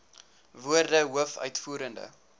woorde hoof uitvoerende